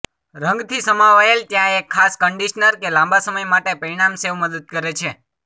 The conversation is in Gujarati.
રંગથી સમાવાયેલ ત્યાં એક ખાસ કન્ડિશનર કે લાંબા સમય માટે પરિણામ સેવ મદદ કરે છે